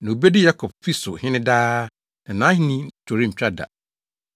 Na obedi Yakob fi so hene daa; na nʼahenni to rentwa da.”